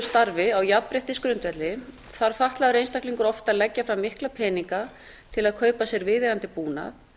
starfi á jafnréttisgrundvelli þarf fatlaður einstaklingar oft að leggja fram mikla peninga til að kaupa sér viðeigandi búnað